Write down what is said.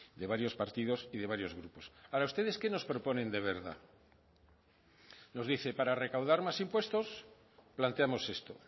de varios partidos y de varios grupos ahora ustedes qué nos proponen de verdad nos dice para recaudar más impuestos planteamos esto